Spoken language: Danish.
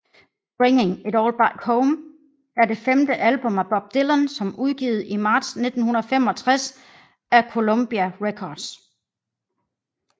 Bringing It All Back Home er det femte album af Bob Dylan som udgivet i marts 1965 af Columbia Records